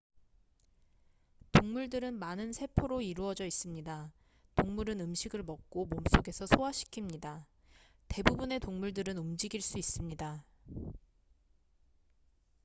동물들은 많은 세포로 이루어져 있습니다 동물은 음식을 먹고 몸 속에서 소화시킵니다 대부분의 동물들은 움직일 수 있습니다